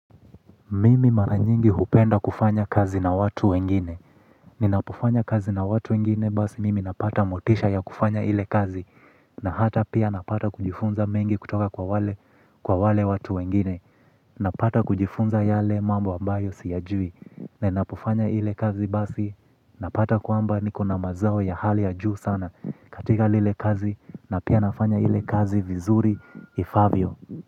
Mimi mara nyingi hupenda kufanya kazi na watu wengine. Ninapofanya kazi na watu wengine basi mimi napata motisha ya kufanya ile kazi. Na hata pia napata kujifunza mengi kutoka kwa wale kwa wale watu wengine. Napata kujifunza yale mambo ambayo siyajui. Ninapofanya ile kazi basi napata kwamba niko na mazao ya hali ya juu sana, katika ile kazi na pia nafanya ile kazi vizuri ifaavyo.